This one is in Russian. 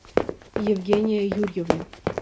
евгения юрьевна